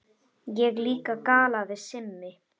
Ég líka galaði Simmi.